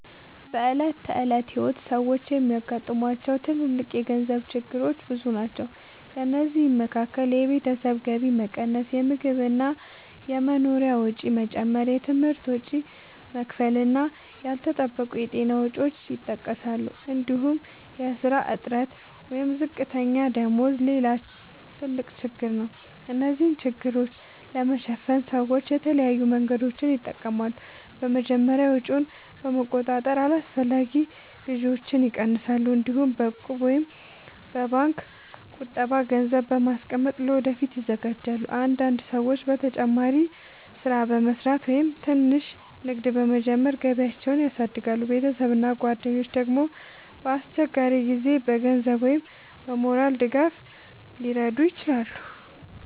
በዕለት ተዕለት ሕይወት ሰዎች የሚያጋጥሟቸው ትልልቅ የገንዘብ ችግሮች ብዙ ናቸው። ከእነዚህ መካከል የቤተሰብ ገቢ መቀነስ፣ የምግብ እና የመኖሪያ ወጪ መጨመር፣ የትምህርት ወጪ መክፈል እና ያልተጠበቁ የጤና ወጪዎች ይጠቀሳሉ። እንዲሁም የሥራ እጥረት ወይም ዝቅተኛ ደመወዝ ሌላ ትልቅ ችግር ነው። እነዚህን ችግሮች ለማሸነፍ ሰዎች የተለያዩ መንገዶችን ይጠቀማሉ። በመጀመሪያ ወጪን በመቆጣጠር አላስፈላጊ ግዢዎችን ይቀንሳሉ። እንዲሁም በእቁብ ወይም በባንክ ቁጠባ ገንዘብ በማስቀመጥ ለወደፊት ይዘጋጃሉ። አንዳንድ ሰዎች ተጨማሪ ሥራ በመስራት ወይም ትንሽ ንግድ በመጀመር ገቢያቸውን ያሳድጋሉ። ቤተሰብ እና ጓደኞች ደግሞ በአስቸጋሪ ጊዜ በገንዘብ ወይም በሞራል ድጋፍ ሊረዱ ይችላሉ።